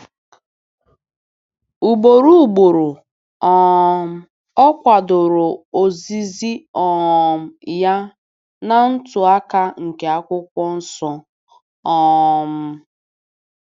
Ugboro ugboro um ọ kwadoro ozizi um ya na ntụaka nke Akwụkwọ Nsọ. um